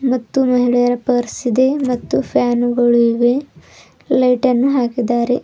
ಮತ್ತು ಮಹಿಳೆಯರ ಪರ್ಸ್ ಇದೆ ಮತ್ತು ಫ್ಯಾನು ಗಳಿವೆ ಲೈಟ್ ಅನ್ನು ಹಾಕಿದ್ದಾರೆ.